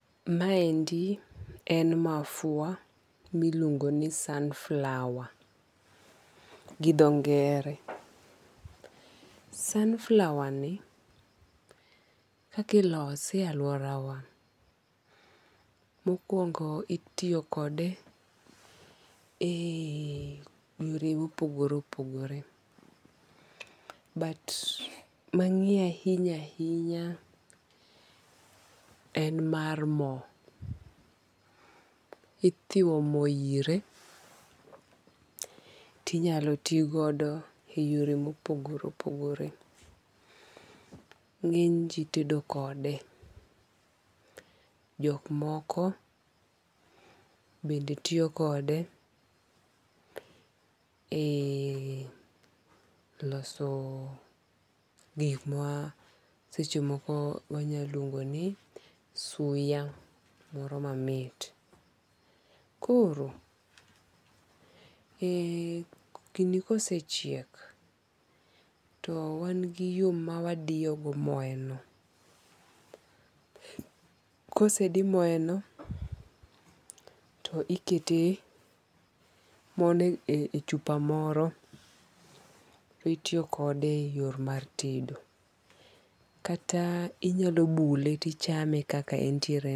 Ma endi en mafua miluongo ni sunflower gi dho ngere. Sunflower ni kakilose e aluora wa mokuongo itiyo kode e yore mopogore opogore. But mang'eyo ahinya ahinya en mar mo. Ithiwo mo ire tinyalo ti godo e yore mopogore opogore. Ng'eny ji tedo kode. Jok moko bende tiyo kode e loso gik ma seche moko wanyaluongo ni suya moro mamit. Koro gini kosechiek to wan gi yo ma wadiyo go moye no. Kosedi moye no, to ikete mo no e chupa moro to itiyo kode e yor mar tedo. Kata inyalo bule tichame kaka entiere no.